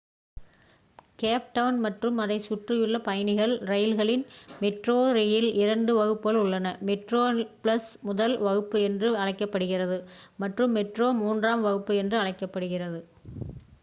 gap Town மற்றும் அதைச் சுற்றியுள்ள பயணிகள் ரயில்களில் மெட்ரோ ரெயில் இரண்டு வகுப்புகள் உள்ளன: மெட்ரோபிளஸ் முதல் வகுப்பு என்று அழைக்கப்படுகிறது மற்றும் மெட்ரோ மூன்றாம் வகுப்பு என்று அழைக்கப்படுகிறது